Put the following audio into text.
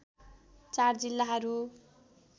४ जिल्लाहरू